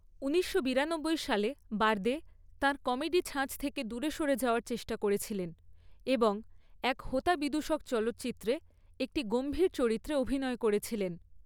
ঊনিশশো বিরানব্বই সালে, বার্দে তার কমেডি ছাঁচ থেকে দূরে সরে যাওয়ার চেষ্টা করেছিলেন এবং এক হোতা বিদুষক চলচ্চিত্রতে একটি গম্ভীর চরিত্রে অভিনয় করেছিলেন।